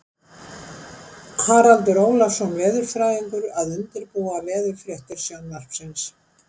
Haraldur Ólafsson veðurfræðingur að undirbúa veðurfréttir Sjónvarpsins.